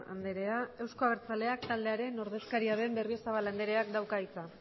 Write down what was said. andrea euzko abertzaleak taldearen ordezkaria den berriozabal andreak dauka hitza